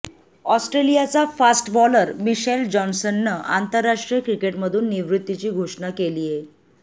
ऑस्ट्रेलियाचा fast bowler Mitchell जॉन्सननं आंतरराष्ट्रीय क्रिकेटमधून निवृत्तीची घोषणा केलीय